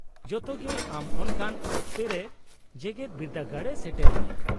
-ᱡᱚᱛᱚ ᱜᱮ ᱟᱢ ᱚᱱᱠᱟᱱ ᱚᱠᱛᱮ ᱨᱮ ᱡᱮᱜᱮᱫ ᱵᱤᱨᱫᱟᱹᱜᱟᱲ ᱮ ᱥᱮᱴᱮᱨ ᱢᱮᱭᱟ ᱾